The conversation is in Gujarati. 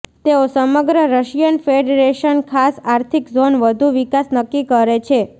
તેઓ સમગ્ર રશિયન ફેડરેશન ખાસ આર્થિક ઝોન વધુ વિકાસ નક્કી કરે છે